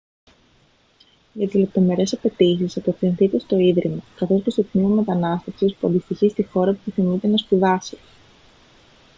για τις λεπτομερείς απαιτήσεις απευθυνθείτε στο ίδρυμα καθώς και στο τμήμα μετανάστευσης που αντιστοιχεί στη χώρα όπου επιθυμείτε να σπουδάσετε